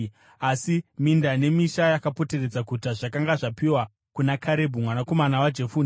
Asi minda nemisha yakapoteredza guta zvakanga zvapiwa kuna Karebhu mwanakomana waJefune.